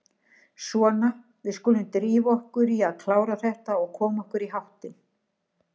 Svona, við skulum drífa okkur í að klára þetta og koma okkur í háttinn.